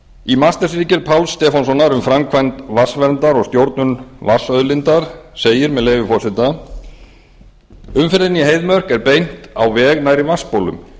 í mastersritgerð páls stefánssonar um framkvæmd vatnsverndar og stjórnun vatnsauðlindar segir með leyfi forseta umferðinni í heiðmörk er beint á veg nærri vatnsbólum